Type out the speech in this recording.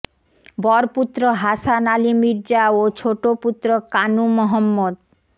বর পুত্র হাসান আলি মির্জা ও ছোট পুত্র কানু মহম্মদ